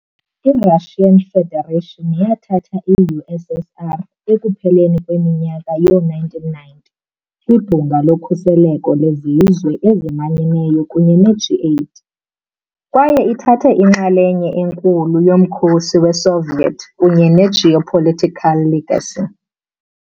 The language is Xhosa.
I- Russian Federation yathatha i-USSR ekupheleni kweminyaka yee-1990 kwiBhunga loKhuseleko leZizwe eziManyeneyo kunye ne- G8, kwaye ithathe inxalenye enkulu yomkhosi weSoviet kunye ne-geopolitical legacy.